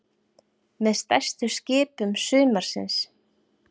Með stærstu skipum sumarsins